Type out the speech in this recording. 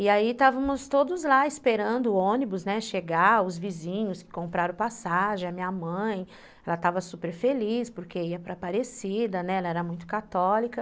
E aí estávamos todos lá esperando o ônibus chegar, os vizinhos compraram passagem, a minha mãe, ela estava super feliz porque ia para Aparecida, né, ela era muito católica.